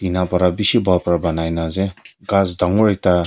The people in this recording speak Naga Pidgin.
nabara beshi balbara poaniana ase khas tangore ekta.